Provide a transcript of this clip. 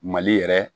Mali yɛrɛ